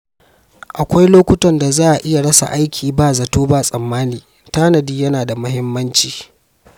Akwai lokutan da za a iya rasa aiki ba zato ba tsammani, tanadi yana da muhimmanci.